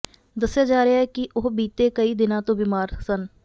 ਦੱਸਿਆ ਜਾ ਰਿਹਾ ਹੈ ਕਿ ਉਹ ਬੀਤੇ ਕਈ ਦਿਨਾਂ ਤੋਂ ਬੀਮਾਰ ਸਨ